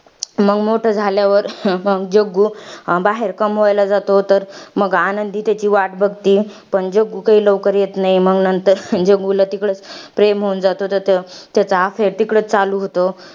मंग मोठं झाल्यावर जग्गू, बाहेर कमवायला जातो तर मग आनंदी त्याची वाट बघती. पण जग्गू काही लवकर येत नाही. मंग जग्गूला तिकडं प्रेम होऊन जातं त्याचं. त्याचं affair तिकडचं चालू होतं.